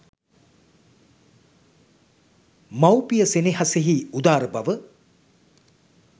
මවුපිය සෙනෙහසෙහි උදාරබව